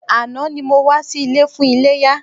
Àná ni mo wá sí ilé fún iléyá.